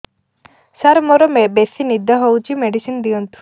ସାର ମୋରୋ ବେସି ନିଦ ହଉଚି ମେଡିସିନ ଦିଅନ୍ତୁ